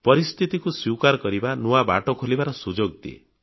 ପରିସ୍ଥିତିକୁ ସ୍ୱୀକାର କରିବା ନୂଆ ବାଟ ଖୋଲିବାର ସୁଯୋଗ ଦିଏ